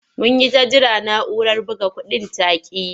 Mun yi ta jira na'urar buga kuɗin ta ƙi yi.